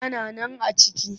Yana nan a ciki